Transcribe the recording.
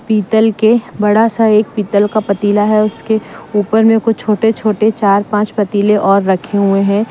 पीतल के बड़ा सा एक पीतल का पतीला है उसके ऊपर मे कुछ छोटे छोटे चार पंच पतीले और रखे हुए हैं।